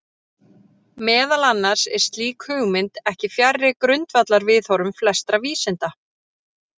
Meðal annars er slík hugmynd ekki fjarri grundvallarviðhorfum flestra vísinda.